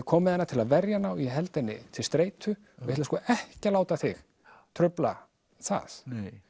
kom með hana til að verja hana og ég held henni til streitu og ég ætla sko ekki að láta þig trufla það